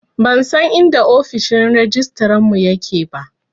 Ban san inda ofishin rajistarar mu ya ke ba